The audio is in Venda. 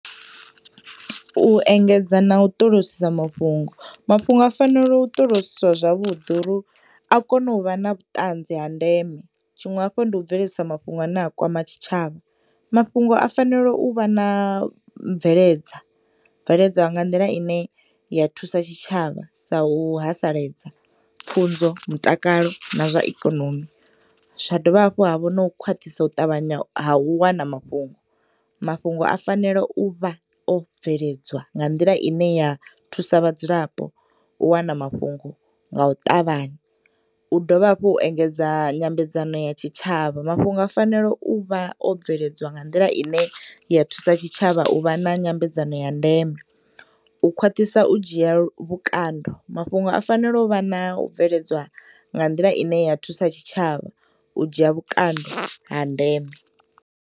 U engedza na u ṱolosisa mafhungo, mafhungo a fanela u ṱolodziswa zwavhuḓi uri a kono u vha na vhuṱanzi ha ndeme, tshiṅwe hafhu ndi u bveledzisa mafhungo ane a kwama tshitshavha. Mafhungo a fanelo uvha na bveledza, bveledza nga nḓila ine ya thusa tshitshavha sa u haseledza pfunzo, mutakalo na zwaikonomi, zwadovha hafhu havha no u kwaṱhisa u ṱavhanya ha u wana mafhungo, mafhungo a fanea uvha o bveledzwa nga nḓila ine ya thusa vhadzulapo u wana mafhungo nga u ṱavhanya, u dovha hafhu u engedza nyambedzano ya tshitshavha mafhungo a fanela uvha o bveledzwa nga nḓila ine yathusa tshitshavha uvha na nyambedzano ya ndeme, ukhwaṱhisa u dzhiya vhukando mafhungo a fanela uvha na u bveledzwa nga nḓila ine ya thusa tshitshavha u dzhiya vhukando ha ndeme.